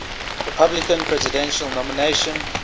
republican presidential nomination